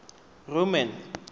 roman